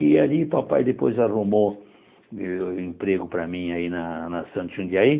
E ali o papai depois arrumou eh emprego para mim aí na na Santos Jundiaí.